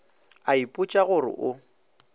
a ipotša go re o